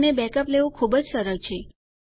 અને બેકઅપ લેવું ખુબજ સરળ છે